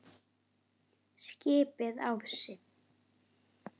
skipaði Ási.